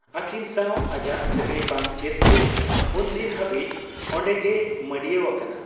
ᱟᱹᱠᱤᱱ ᱥᱟᱶ ᱟᱡᱟᱜ ᱥᱟᱹᱜᱟᱹᱭ ᱵᱟᱝ ᱪᱮᱫ ᱡᱮ ᱩᱱᱫᱤᱱ ᱦᱟᱹᱵᱤᱡ ᱚᱱᱰᱮᱜᱮᱭ ᱢᱟᱺᱰᱤᱭᱟᱹᱣ ᱟᱠᱟᱱᱟ ᱾